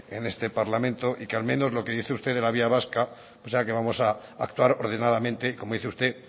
de esas en este parlamento y que al menos lo que dice usted de la vía vasca esa que vamos pactar ordenadamente como dice usted